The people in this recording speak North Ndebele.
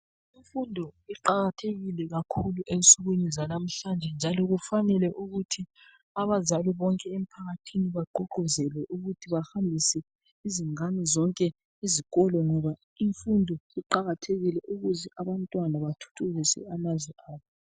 Imfundo iqakathekile kakhulu ensukwini zanamhlanje njalo kufanele ukuthi abazali bonke emphakathini bagqugquzele ukuthi bahambise izingane zonke izikolo ngoba imfundo iqakathekile ukuze abantwana bathuthukise amazwe abo.